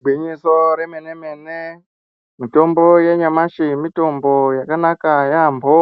Igwinyiso remene-mene, mitombo yenyamashi mitombo yakanaka yaampho,